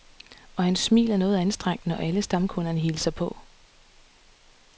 Og hans smil er noget anstrengt, når alle stamkunderne hilser på.